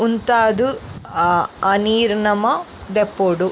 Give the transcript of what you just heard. ಉಂತಾದ್ ಅಹ್ ಆ ನೀರ್ ನಮ ದೆಪ್ಪೊಡು.